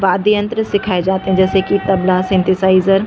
वाद्य यंत्र सिखाये जाते है जैसे की तबला --